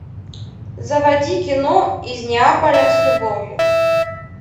заводи кино из неаполя с любовью